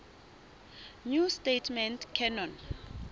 new testament canon